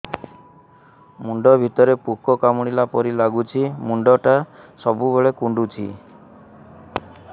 ମୁଣ୍ଡ ଭିତରେ ପୁକ କାମୁଡ଼ିଲା ପରି ଲାଗୁଛି ମୁଣ୍ଡ ଟା ସବୁବେଳେ କୁଣ୍ଡୁଚି